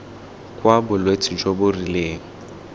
kwa bolwetse jo bo rileng